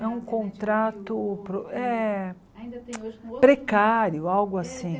É um contrato pro eh precário, algo assim.